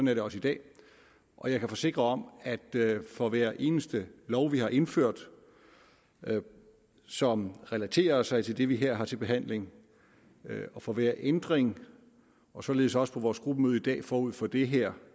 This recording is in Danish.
er det også i dag og jeg kan forsikre om at for hver eneste lov vi har indført som relaterer sig til det vi her har til behandling og for hver ændring således også på vores gruppemøde i dag forud for det her